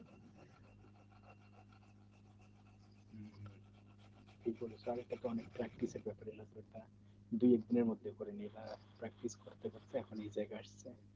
কালকের practice এর মধ্যে পরে দু এক দিনের মধ্যে করে নাই বা practice করতে করতে এখন এই জায়গায় আসছি